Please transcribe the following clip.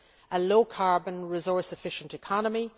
a low carbon, resource efficient economy